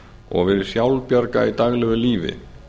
og verið sjálfbjarga í daglegu lífi